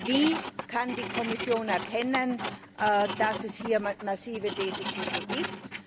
Wie kann die Kommission erkennen, dass es hier massive Defizite gibt?